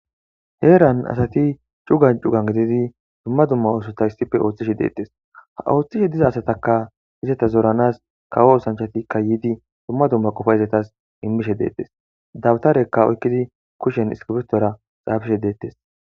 Heeran assati cugan cugan gididi dumma dumma osotta issippe ottishshe dettes ha otishshe diza assataka izatta zoraanas kaawo osanchchatti yiddi dumma dumma qofata izatas immishshe dettes dawattarekka oyikiddi kushshen iskibirtora xaafishshe dettess.